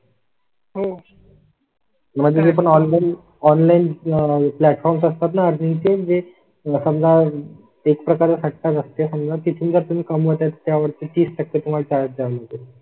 हो मध्ये पण ऑनलाइन ऑनलाइन आह प्लॅटफॉर्म असतात ना? अजून किती वेळ समजा ते करा साठ असते समजा तिथून जर तुम्ही कमी होते त्यावर तीस टक्के तुम्हाला कळते.